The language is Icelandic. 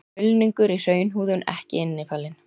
Mulningur í hraunhúðun ekki innifalinn.